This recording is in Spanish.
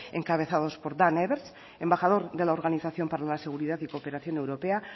encabezados por daan everts embajador de la organización para la seguridad y cooperación europea